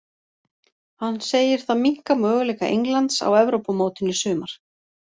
Hann segir það minnka möguleika Englands á Evrópumótinu í sumar.